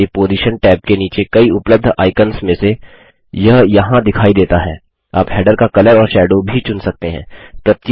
आप हैडर का कलर और शैडो भी चुन सकते हैं